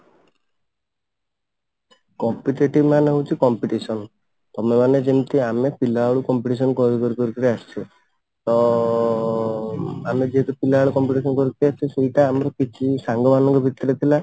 competitive ମାନେ ହଉଛି competition ତମେ ମାନେ ଯେମିତି ଆମେ ପିଲାବେଳୁ competition କରି କରି କରି କରି ଆସିଛେ ତ ଆମେ ଯେହେତୁ ପିଲାବେଳେ competition କରିକି ଆସିଛେ ସେଇଟା ଆମର କିଛି ସାଙ୍ଗ ମାନଙ୍କ ଭିତରେ ଥିଲା